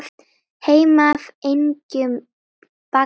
Heim af engjum bagga ber.